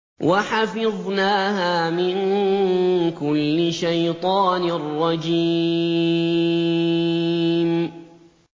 وَحَفِظْنَاهَا مِن كُلِّ شَيْطَانٍ رَّجِيمٍ